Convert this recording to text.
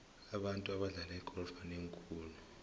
abantu abadlala igolf banengi khulu